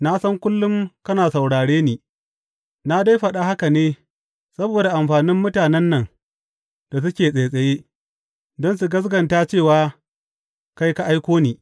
Na san kullum kakan saurare ni, na dai faɗa haka ne saboda amfanin mutanen nan da suke tsaitsaye, don su gaskata cewa kai ka aiko ni.